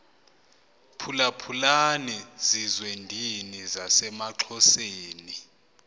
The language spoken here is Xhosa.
phulaphulani zizwendini zasemaxhoseni